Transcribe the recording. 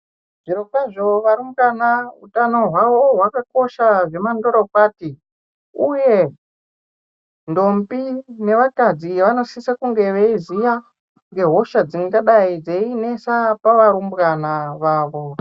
Zvirokwazvo varumbwana utano hwavo hwakakosha zvemandorokwati, uye ndombi nevakadzi vanosisa kunge veiziya ngeshosha dzingadai dzei nesa pavarumbwana vavo.